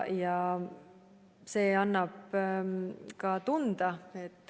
Ja see annab tunda.